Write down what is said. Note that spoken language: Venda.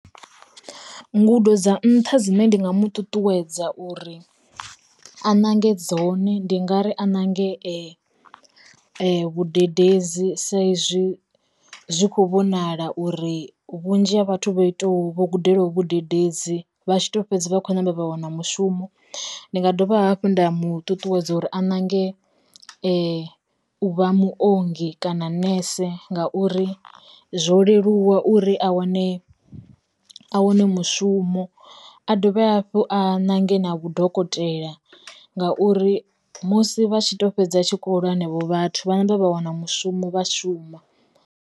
Ngudo dza nnṱha dzine ndi nga mu ṱuṱuwedza uri a nange dzone ndi nga ri a nange vhadededzi sa izwi zwi kho vhonala uri vhunzhi ha vhathu vha iṱo vho gudelaho vhadededzi vhatshi to fhedzi vha khou ṋamba vha wana mushumo. Ndi nga dovha hafhu nda mu ṱuṱuwedza uri a nange uvha muongi kana nese ngauri, zwo leluwa uri a wane a wane mushumo, a dovhe hafhu a nange na vhudokotela ngauri musi vha tshi to fhedza tshikho lwa henevho vhathu vha namba vha wana mushumo vha shuma.